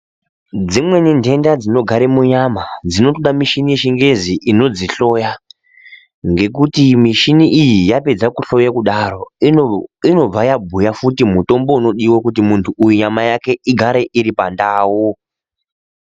Dzimweni ntenta dzinogara munyama dzinotoda michini yechingezi inodzihloya ngekuti mishini iyi yapedza kuhloya kudaro inobva yabhuya futi mutombo unodiwa kuti muntu uyu nyama yake igare iri pandau.